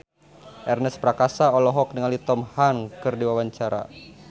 Ernest Prakasa olohok ningali Tom Hanks keur diwawancara